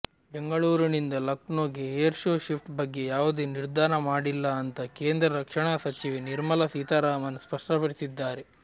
ಬೆಂಗಳೂರಿನಿಂದ ಲಖನೌಗೆ air show shift ಬಗ್ಗೆ ಯಾವುದೇ ನಿರ್ಧಾರ ಮಾಡಿಲ್ಲ ಅಂತ ಕೇಂದ್ರ ರಕ್ಷಣಾ ಸಚಿವೆ ನಿರ್ಮಲ ಸೀತಾರಾಮನ್ ಸ್ಪಷ್ಟಪಡಿಸಿದ್ದಾರೆ